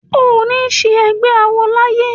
O ò ní ṣe ẹgbé awo láyé!